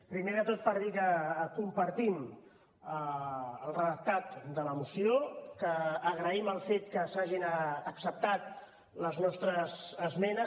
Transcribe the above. primer de tot per dir que compartim el redactat de la moció que agraïm el fet que s’hagin acceptat les nostres esmenes